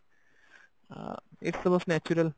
ଆଁ ଏଇଟା ଟା ବସ natural